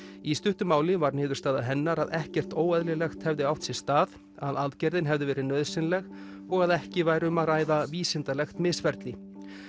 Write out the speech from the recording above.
í stuttu máli var niðurstaða hennar að ekkert óeðlilegt hefði átt sér stað að aðgerðin hefði verið nauðsynleg og að ekki væri um að ræða vísindalegt misferli